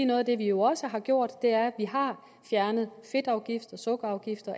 noget af det vi jo også har gjort er vi har fjernet fedtafgift og sukkerafgift og